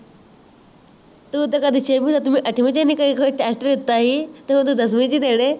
ਤੂੰ ਤੇ ਕਦੇ ਛੇਮੀ, ਸੱਤਵੀ, ਅਠਵੀ ਤੇ ਨੀ ਕੇ ਕੋਈ test ਦਿੱਤਾ ਸੀ ਤੂੰ ਤਾਂ ਦਸਵੀ ਚ ਦੇਣੇ